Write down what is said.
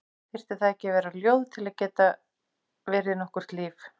Þyrfti það ekki að vera ljóð til að geta verið nokkurt líf?